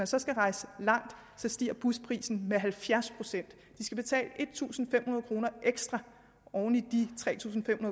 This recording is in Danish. så skal rejse langt stiger busprisen med halvfjerds procent de skal betale en tusind fem hundrede kroner ekstra oven i de tre tusind fem